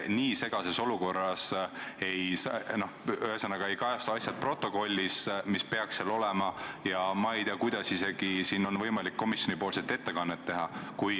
Nii segases olukorras, kui protokollis ei kajastu need asjad, mis seal peaksid olema, ei tea ma, kuidas on võimalik isegi komisjonipoolset ettekannet teha.